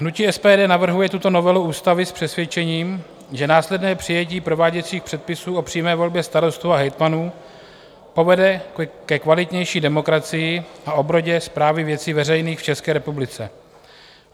Hnutí SPD navrhuje tuto novelu ústavy s přesvědčením, že následné přijetí prováděcích předpisů o přímé volbě starostů a hejtmanů povede ke kvalitnější demokracii a obrodě správy věcí veřejných v České republice.